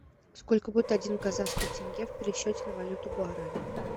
сколько будет один казахский тенге в пересчете на валюту гуарани